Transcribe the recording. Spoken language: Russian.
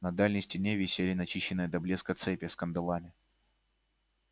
на дальней стене висели начищенные до блеска цепи с кандалами